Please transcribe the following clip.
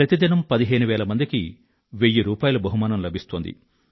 ప్రతి దినం పదిహేను వేల మందికి తలో వెయ్యి రూపాయిల బహుమానం గెల్చుకున్నారు